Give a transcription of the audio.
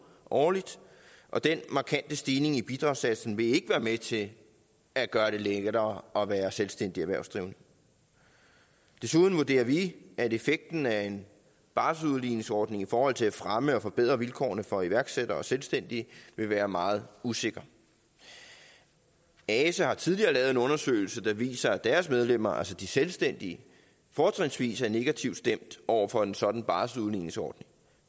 årligt og den markante stigning i bidragssatsen vil ikke være med til at gøre det lettere at være selvstændig erhvervsdrivende desuden vurderer vi at effekten af en barselsudligningsordning i forhold til at fremme og forbedre vilkårene for iværksættere og selvstændige vil være meget usikker ase har tidligere lavet en undersøgelse der viser at deres medlemmer altså de selvstændige fortrinsvis er negativt stemte over for en sådan barselsudligningsordning